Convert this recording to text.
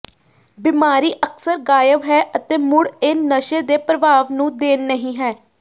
ਬੀਮਾਰੀ ਅਕਸਰ ਗਾਇਬ ਹੈ ਅਤੇ ਮੁੜ ਇਹ ਨਸ਼ੇ ਦੇ ਪ੍ਰਭਾਵ ਨੂੰ ਦੇਣ ਨਹੀ ਹੈ